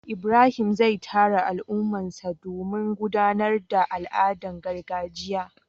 ibrahim zai tara al'ummarsa domin gudanar da al'adun gargajiya